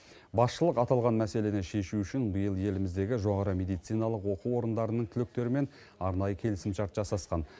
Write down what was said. басшылық аталған мәселені шешу үшін биыл еліміздегі жоғары медициналық оқу орындарының түлектерімен арнайы келісімшарт жасасқан